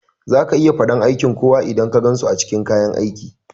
Zaka iya faɗan aiki kowa idan ka gansu a cikin kayan aiki